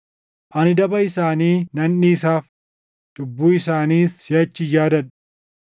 Ani daba isaanii nan dhiisaaf; cubbuu isaaniis siʼachi hin yaadadhu.” + 8:12 \+xt Erm 31:31‑34\+xt*